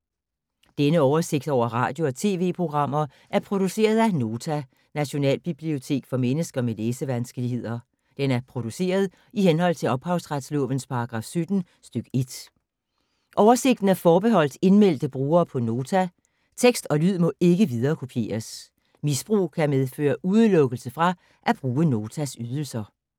Denne oversigt over radio og TV-programmer er produceret af Nota, Nationalbibliotek for mennesker med læsevanskeligheder. Den er produceret i henhold til ophavsretslovens paragraf 17 stk. 1. Oversigten er forbeholdt indmeldte brugere på Nota. Tekst og lyd må ikke viderekopieres. Misbrug kan medføre udelukkelse fra at bruge Notas ydelser.